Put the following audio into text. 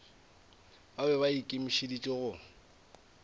ba be ba ikemišeditše go